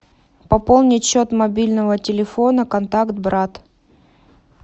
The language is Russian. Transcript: пополнить счет мобильного телефона контакт брат